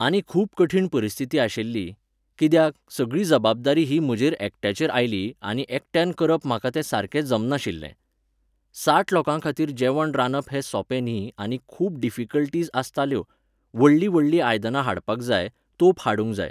आनी खूब कठीण परिस्थिती आशिल्ली, कित्याक, सगळी जबाबदारी ही म्हजेर एकट्यारेच आयली आनी एकट्यान करप म्हाका तें सारके जमनाशिल्लें. साठ लोकांखातीर जेवण रांदप हें सोपें न्ही आनी खूब डिफिकल्टिस आसताल्यो, व्हडलीं व्हडलीं आयदनां हाडपाक जाय, तोप हाडूंक जाय.